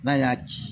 N'a y'a ci